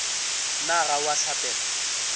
na ga o a hlapela